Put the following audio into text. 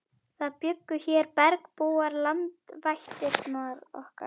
Það bjuggu hér bergbúar, landvættirnar okkar.